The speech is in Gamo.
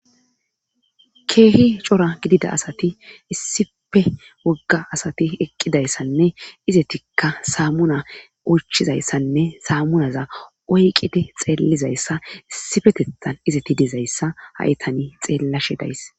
keehi cora gidida asati issife wogga asati eqqidayssanne izetikka saamuna uchizayssanne saamunaza oyqide xeellizayssa issifetethan izeti dizayssa ha7etani xeellashe days